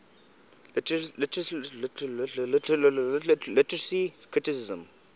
literary criticism